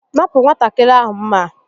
Napụ nwatakịrị ahụ m̀mà a!